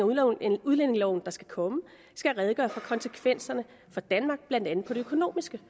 af udlændingeloven der skal komme skal redegøre for konsekvenserne blandt andet de økonomiske